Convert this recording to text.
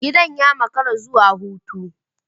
Gidan ya makara zuwa kotu.